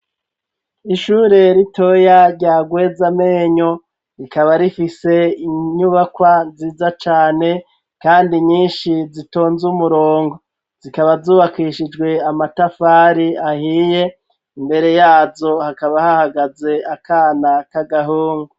Ishure ritoya rya Rwezamenyo. Rikaba rifise inyubakwa ziza cane kandi nyinshi zitonze umurongo. Zikaba zubakishijwe amatafari ahiye, imbere yazo hakaba hahagaze akana k'agahungu.